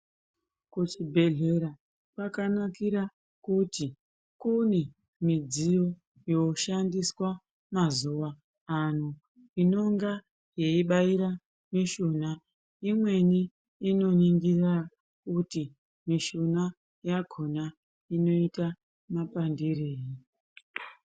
Kuchibhedhlera kwakanakira kuti kune midziyo yoshandiswa mazuva ano inonga yeibaira mishuna imweni inoningira kuti mishuna yakhona inoita mapandirei.